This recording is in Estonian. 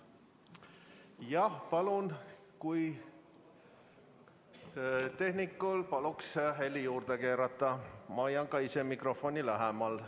Jah, palun tehnikul heli juurde keerata ja hoian ka ise mikrofoni lähemal.